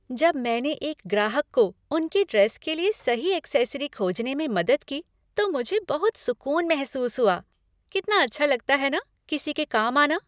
जब मैंने एक ग्राहक को उनकी ड्रेस के लिए सही एक्सेसरी खोजने में मदद की, तो मुझे बहुत सुक़ून महसूस हुआ। कितना अच्छा लगता है न किसी के काम आना?